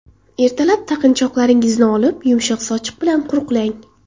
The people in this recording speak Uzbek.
Ertalab taqinchoqlaringizni olib, yumshoq sochiq bilan quruqlang.